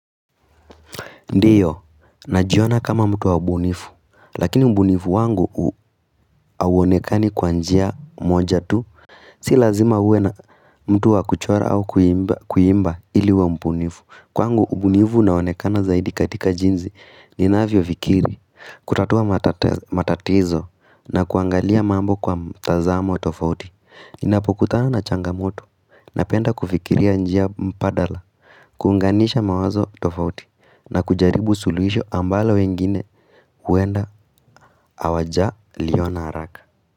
Ndiyo, najiona kama mtu wa mbunifu, lakini mbunifu wangu awonekani kwa njia moja tu, si lazima uwe na mtu wa kuchora au kuimba ili wa mbunifu. Kwangu ubunivu na onekana zaidi katika jinzi ninaavyo fikiri, kutatua matatizo na kuangalia mambo kwa tazamo tofauti Ninapokutana na changamoto na penda kufikiria njia mpadala, kuunganisha mawazo tofauti na kujaribu suluhisho ambalo wengine huenda awaja liwa na haraka.